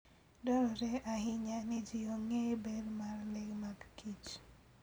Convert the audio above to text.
Dwarore ahinya ni ji ong'e ber mar le magkich.